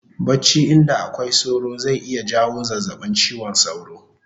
Bacci inda akwai sauro zai iya jawo zazzabin chiwon sauro